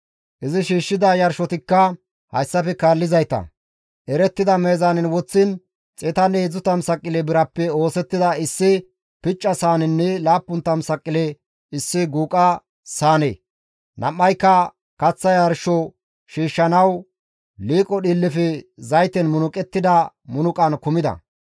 Izi shiishshida yarshotikka hayssafe kaallizayta, erettida meezaanen woththiin 130 saqile birappe oosettida issi picca saanenne 70 saqile issi guuqa saane, nam7ayka kaththa yarsho shiishshanawu liiqo dhiillefe zayten munuqettida munuqan kumida.